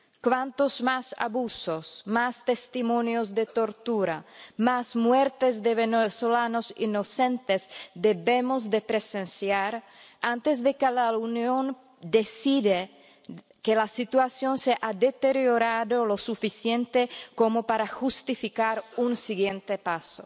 ¿Cuántos más abusos, más testimonios de tortura, más muertes de venezolanos inocentes debemos presenciar antes de que la Unión decida que la situación se ha deteriorado lo suficiente como para justificar un siguiente paso?